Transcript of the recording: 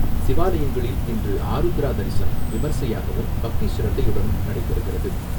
சிவாலயங்களில் இன்று ஆருத்ரா தரிசனம் விமர்சையாகவும், பக்தி சிரத்தையுடனும் நடைபெறுகிறது.